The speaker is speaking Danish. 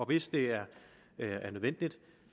hvis det er nødvendigt